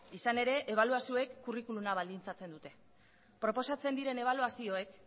izan ere ebaluazioek kurrikuluma balditzatzen dute proposatzen diren ebaluazioek